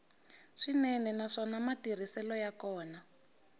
swinene naswona matirhiselo ya kona